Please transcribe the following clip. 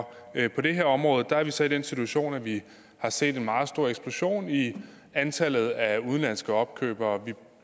på det her område er vi så i den situation at vi har set en meget stor eksplosion i antallet af udenlandske opkøbere vi